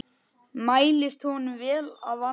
Mæltist honum vel að vanda.